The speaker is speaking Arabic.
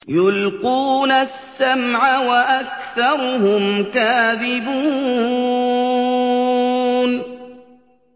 يُلْقُونَ السَّمْعَ وَأَكْثَرُهُمْ كَاذِبُونَ